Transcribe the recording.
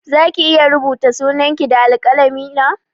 Zaki iya rubuta sunan ki da alƙalami na?